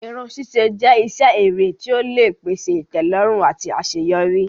Irun sise jẹ́ iṣẹ́ èrè tí ó lè pèsè ìtẹ́lọ́rùn àti àṣeyọrí.